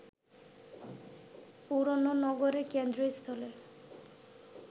পুরোনো নগরের কেন্দ্রস্থলে